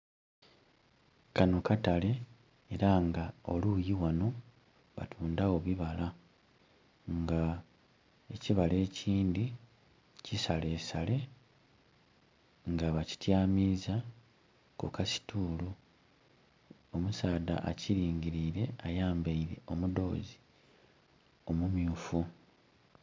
Kano katale era nga oluyi ghano batundha gho bibala nga ekibala ekindhi kisalesale nga ba kityamiza ku kasitulu. Omusaadha akilingilire ayambeire omudhozi omumyufu.